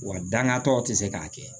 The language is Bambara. Wa dangatɔw tɛ se k'a kɛ